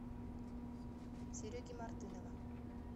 сереги мартынова